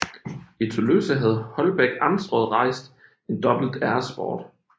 I Tølløse havde Holbæk amtsråd rejst en dobbelt æresport